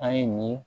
A ye nin